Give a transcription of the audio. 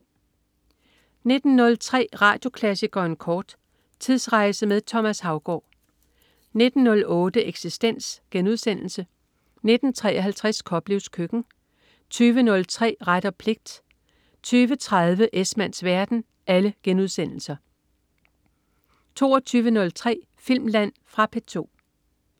19.03 Radioklassikeren kort. Tidsrejse med Thomas Haugaard 19.08 Eksistens* 19.53 Koplevs Køkken* 20.03 Ret og pligt* 20.30 Esmanns verden* 22.03 Filmland. Fra P2